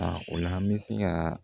A o la an bɛ se ka